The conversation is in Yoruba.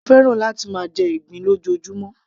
mo fẹ́ràn láti máa jẹ ìgbín lójoojúmó